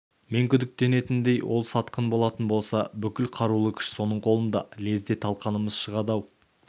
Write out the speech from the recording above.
мен күдіктенетіндей ол сатқын болатын болса бүкіл қарулы күш соның қолында лезде талқанымыз шығады-ау